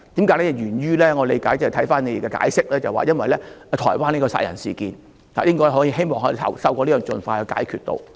據我理解，回看你們的解釋，這是源於在台灣發生的殺人事件，希望透過這樣做可以盡快解決事件。